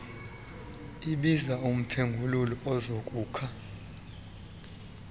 biza umphengululi azokukha